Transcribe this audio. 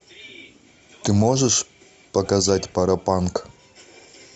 ты можешь показать паропанк